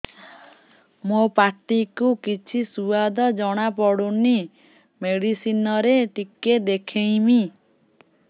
ମୋ ପାଟି କୁ କିଛି ସୁଆଦ ଜଣାପଡ଼ୁନି ମେଡିସିନ ରେ ଟିକେ ଦେଖେଇମି